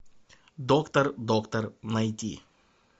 доктор доктор найди